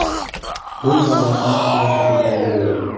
Bu davlatimiz siyosatiga aylandi.